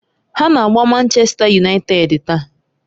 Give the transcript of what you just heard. Ha na-agba Manchèsta Yunaịted taa.